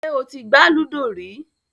Ṣè ó ti gbà lúdọ̀ rí?